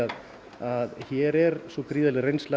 að hér er svo gríðarleg reynsla